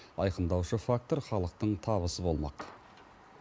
айқындаушы фактор халықтың табысы болмақ